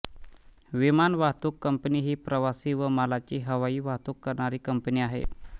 विमान वाहतूक कंपनी ही प्रवासी व मालाची हवाई वाहतूक करणारी कंपनी आहे